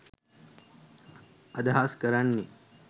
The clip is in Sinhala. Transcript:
අදහස් කරන්නේ